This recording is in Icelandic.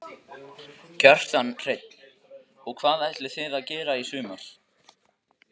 Kjartan Hreinn: Og hvað ætlið þið að gera í sumar?